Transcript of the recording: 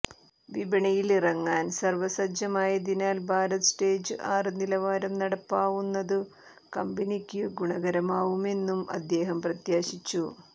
വിപണിയിലറങ്ങാൻ സർവസജ്ജമായതിനാൽ ഭാരത് സ്റ്റേജ് ആറ് നിലവാരം നടപ്പാവുന്നതു കമ്പനിക്കു ഗുണകരമാവുമെന്നും അദ്ദേഹം പ്രത്യാശിച്ചു